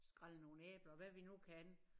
Skrælle nogle æbler og hvad vi nu kan